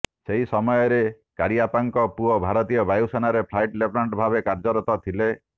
ସେହି ସମୟରେ କରିଅପ୍ପାଙ୍କ ପୁଅ ଭାରତୀୟ ବାୟୁସେନାରେ ଫ୍ଲାଇଟ୍ ଲେଫ୍ଟନାଣ୍ଟ ଭାବେ କାର୍ଯ୍ୟରତ ଥିଲେ